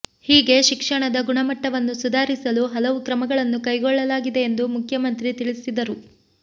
ಹೀಗೆ ಶಿಕ್ಷಣದ ಗುಣಮಟ್ಟವನ್ನು ಸುಧಾರಿಸಲು ಹಲವು ಕ್ರಮಗಳನ್ನು ಕೈಗೊಳ್ಳಲಾಗಿದೆ ಎಂದು ಮುಖ್ಯಮಂತ್ರಿ ತಿಳಿಸಿದರು